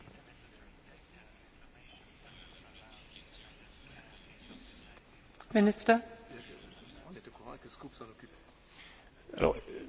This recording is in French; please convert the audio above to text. Bien évidemment, la problématique que vous évoquez est importante et, sans aucun doute, elle fera partie des considérants liant l'étude en cours et les perspectives